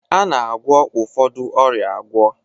A na-agwọ ụfọdụ ọrịa agwọ